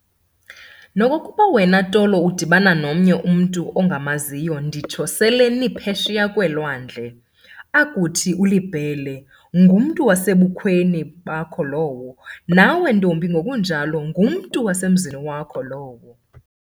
Nokokuba wena Tolo udibana nomnye umntu ongamaziyo nditsho sele niphesheya kweelwandle, akuthi uliBhele, ngumntu wasebukhweni bakho lowo, nawe ntombi ngokunjalo, ngumntu wasemzini wakho lowo.